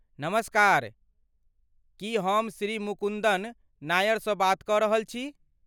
नमस्कार! की हम श्री मुकुन्दन नायरसँ बात कऽ रहल छी?